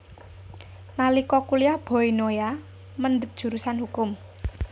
Nalika kuliyah Boy Noya mendhet jurusan hukum